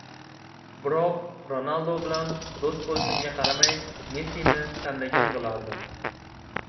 Biroq Ronaldu bilan do‘st bo‘lishimga qaramay Messini tanlagan bo‘lardim.